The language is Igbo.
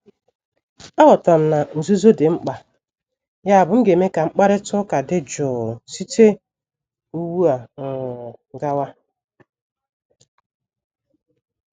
Aghọtara m na nzuzo dị mkpa, yabụ m ga-eme ka mkparịta ụka dị jụụ site ugbu um a gawa.